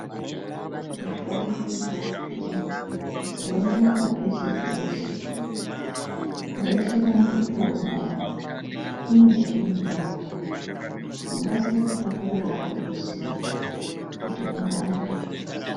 Mitombo yechiantu inei yooneka peshe peshe nguwa inombotionawo na ine chaunoraoa ungaita zvekutokorerawo kuziya kuti inorapei.